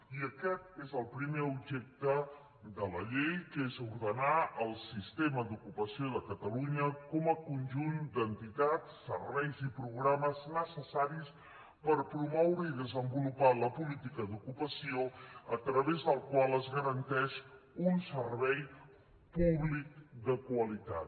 i aquest és el primer objecte de la llei que és ordenar el sistema d’ocupació de catalunya com a conjunt d’entitats serveis i programes necessaris per promoure i desenvolupar la política d’ocupació a través del qual es garanteix un servei públic de qualitat